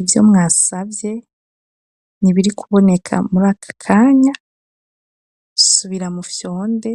Ivyo mwasavye ntibiri kuboneka muri akakanya ,subira mu fyonde